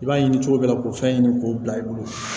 I b'a ɲini cogo bɛɛ la k'o fɛn ɲini k'o bila i bolo